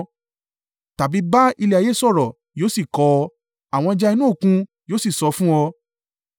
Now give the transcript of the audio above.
Tàbí ba ilẹ̀ ayé sọ̀rọ̀, yóò sì kọ́ ọ, àwọn ẹja inú òkun yóò sì sọ fún ọ.